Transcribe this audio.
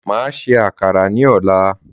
Máa ṣe àkàrà ní ọ̀la